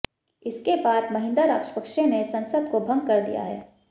इसके बाद महिंदा राजपक्षे ने संसद को भंग कर दिया है